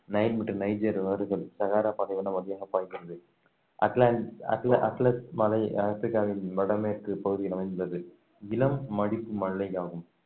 Nile மற்றும் Niger ஆறுகள் Sahara பாலைவன வழியாக பாய்கிறது அட்லாண்~ அட்ல~ அட்லஸ் மலை ஆப்ரிக்காவின் வடமேற்குப் பகுதியில் அமைந்துள்ளது இளம் மடிப்பு மலையாகும்